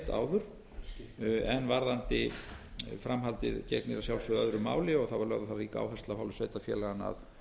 áður en varðandi framhaldið gegnir að sjálfsögðu öðru máli þá var lögð á það rík áhersla af hálfu sveitarfélaganna að